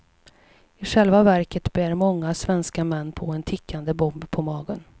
I själva verket bär många svenska män på en tickande bomb på magen.